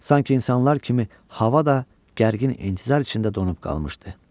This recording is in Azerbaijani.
Sanki insanlar kimi hava da gərgin intizar içində donub qalmışdı.